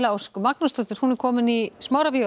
Ósk Magnúsdóttir er komin í Smárabíó